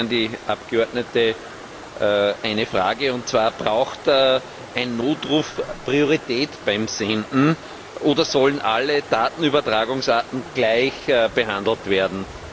Ich habe an die Abgeordnete eine Frage, und zwar Braucht ein Notruf Priorität beim Senden oder sollen alle Datenübertragungsarten gleich behandelt werden?